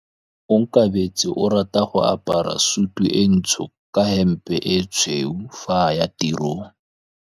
Onkabetse o rata go apara sutu e ntsho ka hempe e tshweu fa a ya tirong.